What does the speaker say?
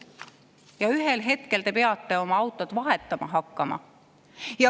Ja ühel hetkel nad peavad oma autot vahetama hakkama.